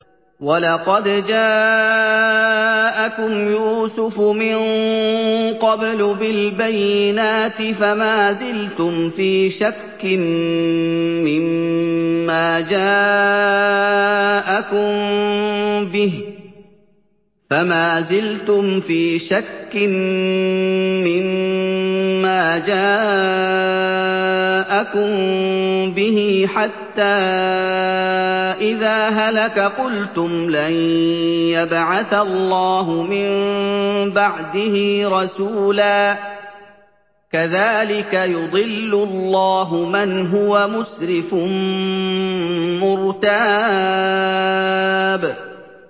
وَلَقَدْ جَاءَكُمْ يُوسُفُ مِن قَبْلُ بِالْبَيِّنَاتِ فَمَا زِلْتُمْ فِي شَكٍّ مِّمَّا جَاءَكُم بِهِ ۖ حَتَّىٰ إِذَا هَلَكَ قُلْتُمْ لَن يَبْعَثَ اللَّهُ مِن بَعْدِهِ رَسُولًا ۚ كَذَٰلِكَ يُضِلُّ اللَّهُ مَنْ هُوَ مُسْرِفٌ مُّرْتَابٌ